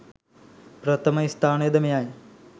ප්‍රථම ස්ථානය ද මෙයයි.